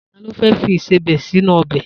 Ta ló fẹ́ fi ìsebẹ̀ sínú ọbẹ̀?